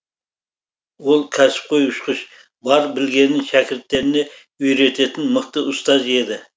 ол кәсіпқой ұшқыш бар білгенін шәкірттеріне үйрететін мықты ұстаз еді